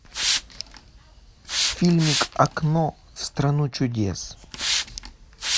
фильмик окно в страну чудес